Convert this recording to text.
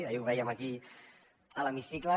ahir ho vèiem aquí a l’hemicicle